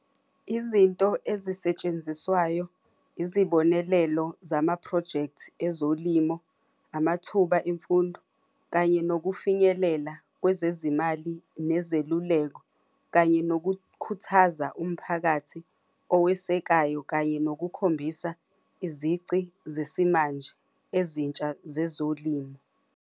Izinto ezisetshenziswayo izibonelelo zama-project ezolimo, amathuba emfundo kanye nokufinyelela kwezezimali nezeluleko kanye nokukhuthaza umphakathi owesekayo, kanye yokukhombisa izici zesimanje ezintsha zezolimo.